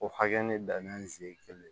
O hakɛ ne danni si ye kelen ye